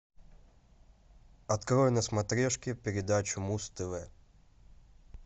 открой на смотрешке передачу муз тв